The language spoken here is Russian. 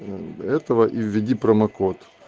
мм этого и введи промокод